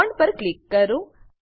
bond પર click કરો